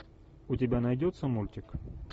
у тебя найдется мультик